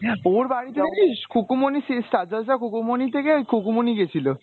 ওর বাড়িতে জানিস খুকুমনি সেই star জলসার খুকুমনি থেকে খুকুমনি গেছিলো।